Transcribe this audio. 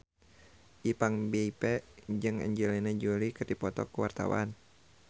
Ipank BIP jeung Angelina Jolie keur dipoto ku wartawan